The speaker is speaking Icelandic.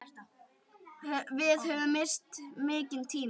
Við höfum misst mikinn tíma.